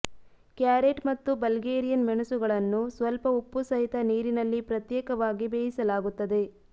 carrot ಮತ್ತು Bulgarian ಮೆಣಸುಗಳನ್ನು ಸ್ವಲ್ಪ ಉಪ್ಪುಸಹಿತ ನೀರಿನಲ್ಲಿ ಪ್ರತ್ಯೇಕವಾಗಿ ಬೇಯಿಸಲಾಗುತ್ತದೆ